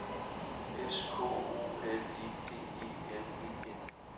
S K O L E D E L E N